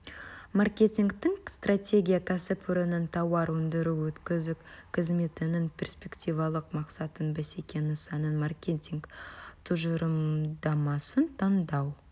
маркетингтік стратегия кәсіпорынның тауар өндіру-өткізу қызметінің перспективалық мақсатын бәсеке нысанын маркетинг тұжырымдамасын таңдау